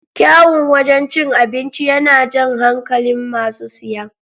Kyaun wajan cin abinci yana jan hankalin masu siya